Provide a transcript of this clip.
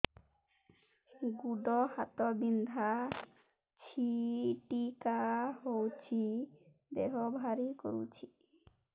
ଗୁଡ଼ ହାତ ବିନ୍ଧା ଛିଟିକା ହଉଚି ଦେହ ଭାରି କରୁଚି